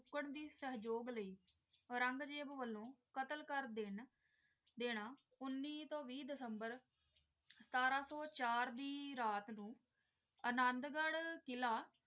ਕੁਕੁਨ ਦੀ ਸਹਿਯੋਗ ਲਈ ਉਨੀਸ ਦਸੰਬਰ ਅਨੰਦਰਗੜ੍ਹ ਕਿੱਲਾ